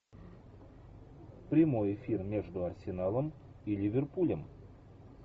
прямой эфир между арсеналом и ливерпулем